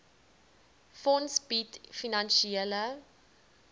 fonds bied finansiële